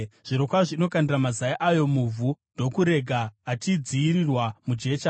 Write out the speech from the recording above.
Zvirokwazvo inokandira mazai ayo muvhu igoarega achidziyirwa mujecha,